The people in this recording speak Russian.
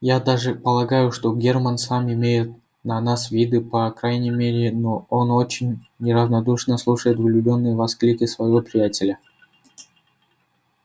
я даже полагаю что герман сам имеет на нас виды по крайней мере но он очень неравнодушно слушает влюблённые восклики своего приятеля